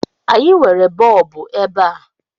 Anyị nwere bọọbụ ebe a